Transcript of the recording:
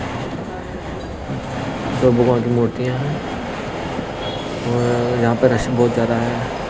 दो भगवान की मूर्तियां हैंऔर यहां पर रस बहुत ज्यादा है।